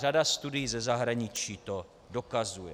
Řada studií ze zahraničí to dokazuje.